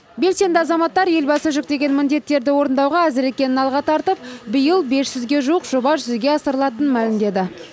белсенді азаматтар елбасы жүктеген міндеттерді орындауға әзір екенін алға тартып биыл бес жүзге жуық жоба жүзеге асырылатынын мәлімдеді